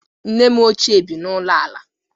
Nne m ochie bi n'ụlọ ala.